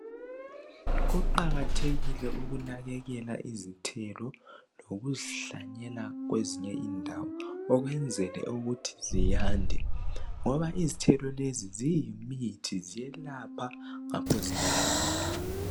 Kuqakathekile ukunakekela izithelo lokuzihlanyela kwezinye indawo ukwenzela ukuthi ziyande ngoba izithelo lezi ziyimithi ziyelapha ngapho ziyadliwa.